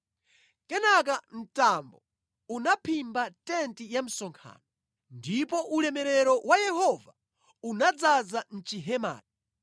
Kenaka mtambo unaphimba tenti ya msonkhano, ndipo ulemerero wa Yehova unadzaza mʼchihemacho.